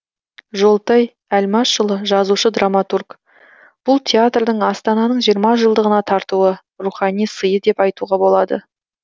жолтай әлмашұлы жазушы драматург бұл театрдың астананың жиырма жылдығына тартуы рухани сыйы деп айтуға болады